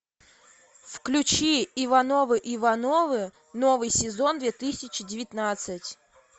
включи ивановы ивановы новый сезон две тысячи девятнадцать